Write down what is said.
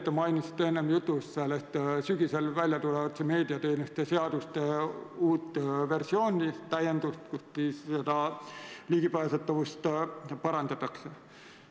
Te mainisite enne jutu sees sügisel väljatulevat meediateenuste seaduste uut versiooni, selle täiendust, millega ligipääsetavust parandatakse.